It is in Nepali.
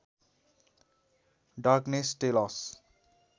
darkness tell us